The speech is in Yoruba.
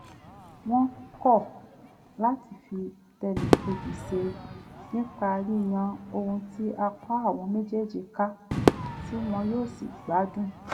wọ́n kọ́ láti fi tẹnìkejì ṣe nípa yíyan ohun tí apá àwọn méjèèjí ká tí won yóò sì gbádùn